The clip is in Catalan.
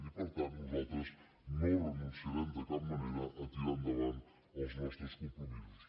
i per tant nosaltres no renunciarem de cap manera a tirar endavant els nostres compromisos